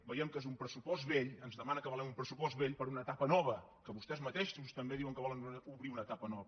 veiem que és un pressupost vell ens demana que avalem un pressupost vell per a una etapa nova que vostès mateixos també diuen que volen obrir una etapa nova